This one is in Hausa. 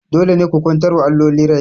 Dole ne ku kwantar wa alloli rai!